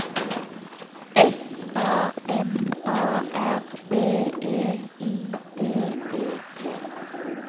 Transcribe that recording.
S A M A R B E I D E T